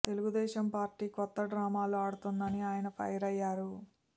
Telugu Desam party కొత్త డ్రామాలు ఆడుతోందని ఆయన ఫైర్ అయ్యారు